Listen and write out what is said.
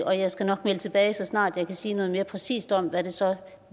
og jeg skal nok melde tilbage så snart jeg kan sige noget mere præcist om hvad det så